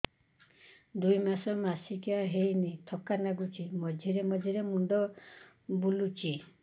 ଦୁଇ ମାସ ମାସିକିଆ ହେଇନି ଥକା ଲାଗୁଚି ମଝିରେ ମଝିରେ ମୁଣ୍ଡ ବୁଲୁଛି